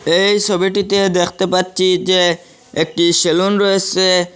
এই সবিটিতে দেখতে পাচ্ছি যে একটি সেলুন রয়েসে।